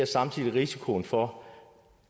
samtidig risikoen for